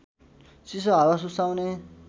चिसो हावा सुसाउने